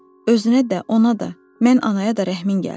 Özünə də, ona da, mən anaya da rəhmin gəlsin.